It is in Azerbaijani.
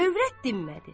Övrət dinmədi.